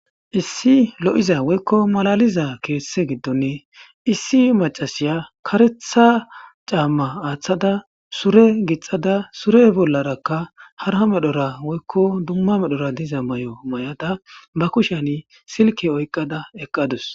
issi lo7iza woykko malaliza keesse giddonne issi macasiya karetha caamma aaththada sure gixada sure bollarakka harha medhora woykko dumma medhora diza may7o may7ada ba kushan silke oyqada eqqadus